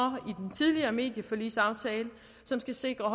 tidligere medieforligsaftale som skal sikre